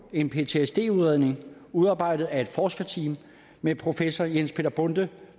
en ptsd udredning udarbejdet af et forskerteam med professor jens peter bonde